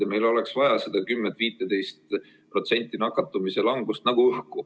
Ja meil oleks vaja seda 10–15% nakatumise langust.